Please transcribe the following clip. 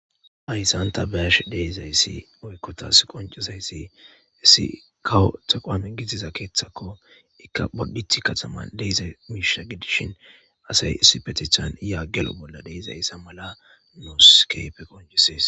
Hayssan ta be'ashe de'izayssi woykko tas qoncizayssi issi kawo tequwame gidida keeththako; iika bodditi kataman de'iza miishsha gidishin asay isipetethan ya gelo bolla de'izayssa mala nuus keehippe qoncises.